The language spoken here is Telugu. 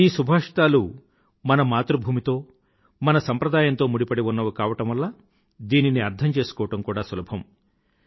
ఈ సుభాషితాలు మన మాతృభూమితో మన సంప్రదాయంతో ముడిపడి ఉన్నవి కావడం వల్ల దీనిని అర్థం చేసుకోవడం కూడా సులభం